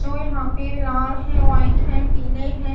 जो यहां पे लाल है व्हाइट है पीले हैं।